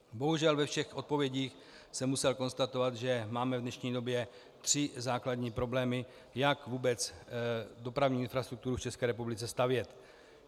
Bohužel ve všech odpovědích jsem musel konstatovat, že máme v dnešní době tři základní problémy, jak vůbec dopravní infrastrukturu v České republice stavět.